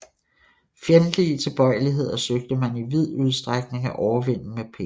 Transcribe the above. Fjendtlige tilbøjeligheder søgte man i vid udstrækning at overvinde med penge